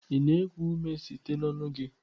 Ị na-eku ume site n'ọnụ gị?